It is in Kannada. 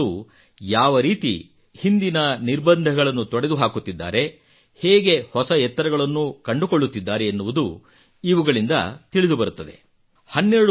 ಹೆಣ್ಣು ಮಕ್ಕಳು ಯಾವ ರೀತಿ ಹಿಂದಿನ ನಿರ್ಬಂಧಗಳನ್ನು ತೊಡೆದು ಹಾಕುತ್ತಿದ್ದಾರೆ ಹೇಗೆ ಹೊಸ ಎತ್ತರಗಳನ್ನು ಅಧಿಗಮಿಸುತ್ತಿದ್ದಾರೆ ಎನ್ನುವುದು ಇವುಗಳಿಂದ ತಿಳಿದುಬರುತ್ತದೆ